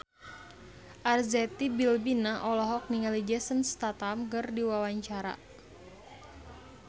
Arzetti Bilbina olohok ningali Jason Statham keur diwawancara